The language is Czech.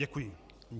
Děkuji.